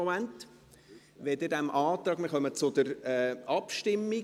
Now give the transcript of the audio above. Wir kommen zur Abstimmung.